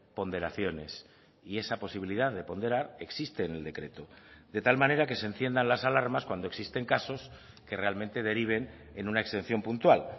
ponderaciones y esa posibilidad de ponderar existe en el decreto de tal manera que se enciendan las alarmas cuando existen casos que realmente deriven en una exención puntual